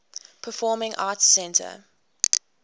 performing arts center